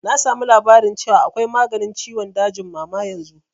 Na samu labarin cewa akwai maganin ciwon dajin mama yanzu